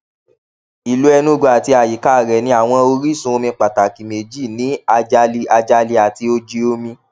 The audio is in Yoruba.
ìlú enugu àti àyíká rè ní àwọn orísun omi pàtàkì méjì ní ajali ajali àti oji omi